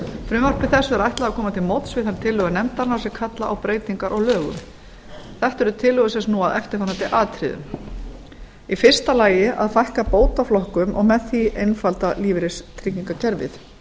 frumvarpi þessu er ætlað að koma til móts við þær tillögur nefndarinnar sem kalla á breytingar á lögum þetta eru tillögur sem snúa að eftirfarandi atriðum fyrstu að fækka bótaflokkum og með því einfalda lífeyristryggingakerfið